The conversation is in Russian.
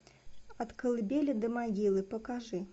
от колыбели до могилы покажи